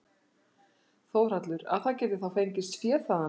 Þórhallur: Að það geti þá fengist fé þaðan?